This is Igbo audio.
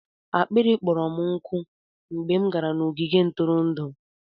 akpịrị kpọrọ m nkụ mgbe m gara n'ogige ntụrụndụ.